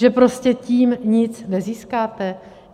Že prostě tím nic nezískáte?